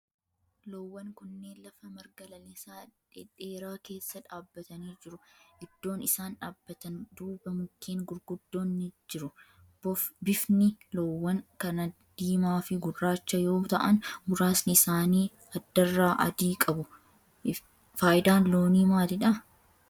Loowwan kunneen lafa marga lalisaa dhedheeraa keessa dhaabbatanii jiru. Iddoon isaan dhaabbatan duuba mukkeen gurguddoon ni jiru. Bifni loowwan kana diimaa fi gurraacha yoo ta'aan muraasni isaani addarraa adii qabu. Faayidaan loonii maalidha?